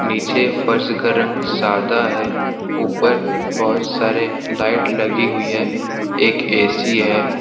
नीचे फोर्स का रंग सदा है ऊपर बहुत सारे लाइट लगी हुई है एक ए_सी है।